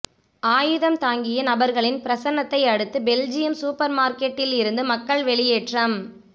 ஆயுதம் தாங்கிய நபர்களின் பிரசன்னத்தை அடுத்து பெல்ஜியம் சூப்பர் மார்க்கெட்டில் இருந்து மக்கள் வெளியேற்றம்